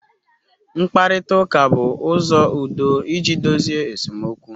Mkparịta ụka bụ ụzọ udo iji dozie esemokwu.